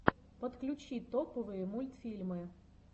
подключи топовые мультфильмы